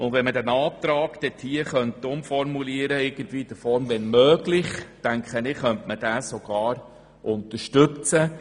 Würde man den Antrag in die Form «wenn möglich» umformulieren, könnte man ihn sogar unterstützen.